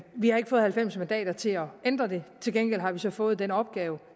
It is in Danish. vi har ikke fået halvfems mandater til at ændre det til gengæld har vi så fået den opgave